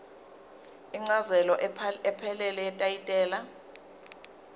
incazelo ephelele yetayitela